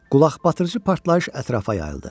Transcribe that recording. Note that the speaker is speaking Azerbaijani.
Qulaqbatırıcı partlayış ətrafa yayıldı.